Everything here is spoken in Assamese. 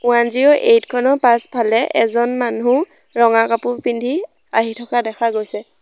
ওৱান জিৰ' এইট খনৰ পাছফালে এজন মানুহ ৰঙা কাপোৰ পিন্ধি আহি থকা দেখা গৈছে।